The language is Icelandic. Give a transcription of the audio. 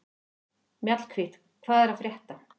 Mjallhvít, hvað er að frétta?